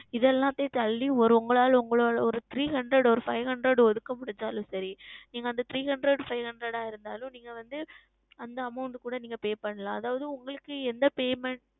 இது எல்லாமே தள்ளி வரும் உங்களால் உங்களால் ஓர் Three Hundred ஓர் Five Hundred ஒதுக்க முடிந்தாலும் சரி நீங்கள் அந்த Three HundredFive Hundred ஆ இருந்தாலும் நீங்கள் வந்து அந்த Amount கூட நீங்கள் Pay செய்யலாம் அதாவது உங்களுக்கு என்ன Payment